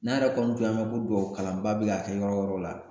N'a yɛrɛ kɔni tun y'a mɛn ko dubaw kalanba bɛ ka kɛ yɔrɔ yɔrɔ la